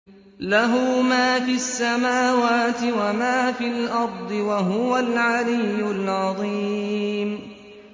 لَهُ مَا فِي السَّمَاوَاتِ وَمَا فِي الْأَرْضِ ۖ وَهُوَ الْعَلِيُّ الْعَظِيمُ